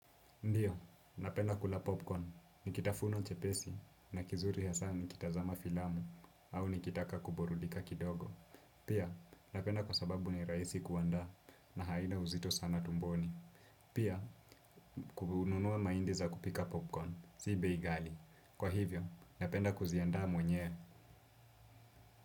Ndio, napenda kula popcorn. Nikitafuno chepesi na kizuri hasa nikitazama filamu au nikitaka kuburudika kidogo. Pia, napenda kwa sababu ni raisi kuandaa na haina uzito sana tumboni. Pia, kuhununua maindi za kupika popcorn, si bei ghali. Kwa hivyo, napenda kuziandaa mwenyewe.